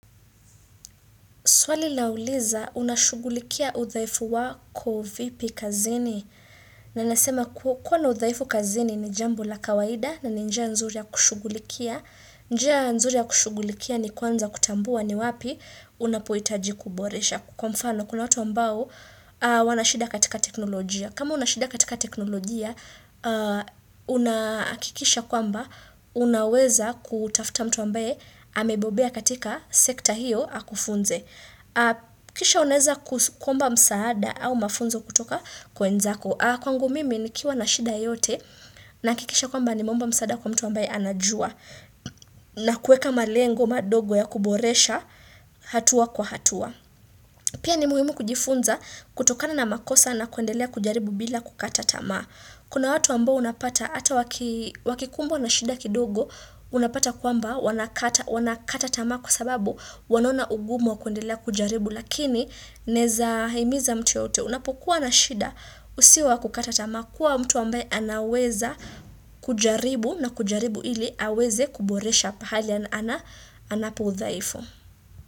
Swali lauliza, unashugulikia udhaifu wako vipi kazini. Na nasema ku kuwa na udhaifu kazini ni jambo la kawaida na ninjia nzuri ya kushughulikia. Njia nzuri ya kushughulikia ni kwanza kutambua ni wapi unapoitaji kuboresha. Kwa mfano, kuna watu ambao wanashida katika teknolojia. Kama unashida katika teknolojia, unaakikisha kwamba unaweza kutafuta mtu ambaye amebobea katika sekta hio akufunze. Kisha unaeza kuskuomba msaada au mafunzo kutoka kwenza ko Kwa ngu mimi ni kiwa na shida yote na kikisha kwamba nimeomba msaada kwa mtu ambaye anajua. Na kueka malengo madogo ya kuboresha hatua kwa hatua. Pia ni muhimu kujifunza kutokana na makosa na kuendelea kujaribu bila kukata tamaa. Kuna watu ambo unapata ata waki wakikumbwa na shida kidogo unapata kwamba wanakata wanakata tamaa kwa sababu wanaona ugumu kuendelea kujaribu. Lakini neza himiza mtu yote unapokuwa na shida usiwa kukatata makuwa mtu wame anaweza kujaribu na kujaribu ili aweze kuboresha pahalia na anapu zaifu.